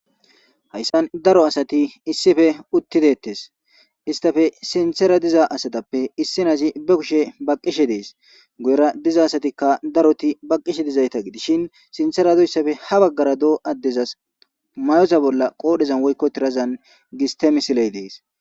Hayssan daro asati issife uttidettes istafe sinthera diza asatappe issinasi be kushe baqqishe dees guyera diza asatikka daroti baqqishe dizayta gidishin sinthera do issafe ha baggara doo addezas mayosa bolla qoodhezan woykko tirazan gis temisiley dees